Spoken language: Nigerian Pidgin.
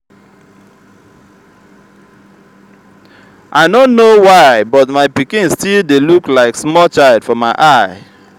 i no know why but my pikin still dey look like small child for my eye